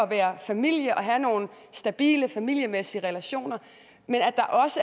være familie og have nogle stabile familiemæssige relationer men at der også